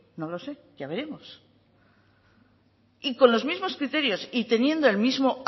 no lo sé ya veremos y con los mismos criterios y teniendo el mismo